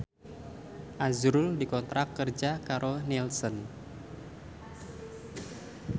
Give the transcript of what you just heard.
azrul dikontrak kerja karo Nielsen